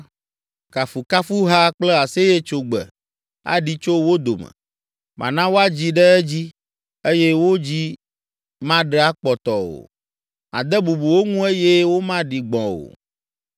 Kafukafuha kple aseyetsogbe aɖi tso wo dome. Mana woadzi ɖe edzi eye wo dzi maɖe akpɔtɔ o. Made bubu wo ŋu eye womaɖi gbɔ̃ o.